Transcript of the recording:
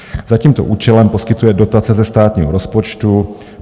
Za tímto účelem poskytuje dotace ze státního rozpočtu.